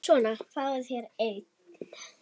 Svona, fáðu þér einn.